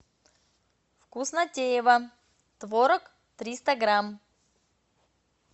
вкуснотеево творог триста грамм